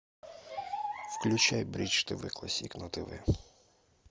включай бридж тв классик на тв